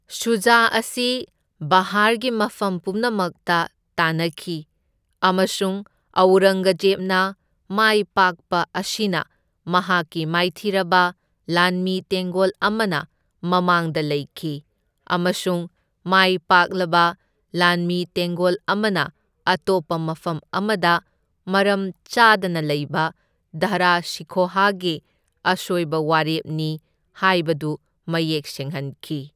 ꯁꯨꯖꯥ ꯑꯁꯤ ꯕꯥꯍꯥꯔꯒꯤ ꯃꯐꯝ ꯄꯨꯝꯅꯃꯛꯇ ꯇꯥꯟꯅꯈꯤ ꯑꯃꯁꯨꯡ ꯑꯧꯔꯪꯒꯖꯦꯕꯅ ꯃꯥꯏꯄꯥꯛꯄ ꯑꯁꯤꯅ ꯃꯍꯥꯛꯀꯤ ꯃꯥꯏꯊꯤꯔꯕ ꯂꯥꯟꯃꯤ ꯇꯦꯡꯒꯣꯜ ꯑꯃꯅ ꯃꯃꯥꯡꯗ ꯂꯩꯈꯤ ꯑꯃꯁꯨꯡ ꯃꯥꯏꯄꯥꯛꯂꯕ ꯂꯥꯟꯃꯤ ꯇꯦꯡꯒꯣꯜ ꯑꯃꯅ ꯑꯇꯣꯞꯄ ꯃꯐꯝ ꯑꯃꯗ ꯃꯔꯝ ꯆꯥꯗꯅ ꯂꯩꯕ ꯗꯥꯔꯥ ꯁꯤꯈꯣꯍꯒꯤ ꯑꯁꯣꯏꯕ ꯋꯥꯔꯦꯞꯅꯤ ꯍꯥꯏꯕꯗꯨ ꯃꯌꯦꯛ ꯁꯦꯡꯍꯟꯈꯤ꯫